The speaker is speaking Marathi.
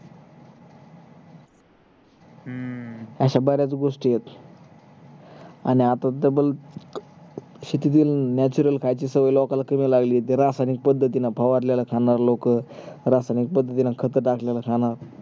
असे बरेच गोष्टी आहे आन double शेतीतून natural खायची सवय लोकांना कमी लागली आहे ते रासायनिक पद्धतीने फवारलेल खानर लोक रासयनिक पद्धतीन खत टाकलेलं खाणार